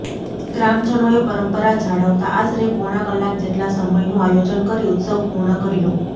ગ્રામજનોએ પરંપરા જાળવતા આશરે પોણા કલાક જેટલા સમયનું આયોજન કરી ઉત્સવ પૂર્ણ કર્યો